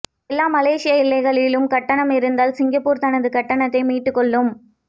எல்லா மலேசிய எல்லைகளிலும் கட்டணம் இருந்தால் சிங்கப்பூர் தனது கட்டணத்தை மீட்டுக்கொள்ளும்